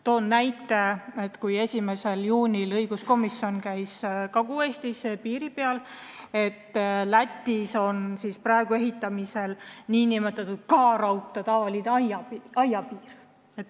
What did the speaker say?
Toon näite, et 1. juunil käis õiguskomisjon Kagu-Eestis piiril ja me nägime, et Lätis on praegu ehitamisel nn K-Rauta aia taoline piir.